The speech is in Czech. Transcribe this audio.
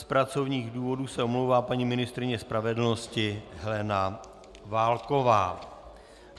Z pracovních důvodů se omlouvá paní ministryně spravedlnosti Helena Válková.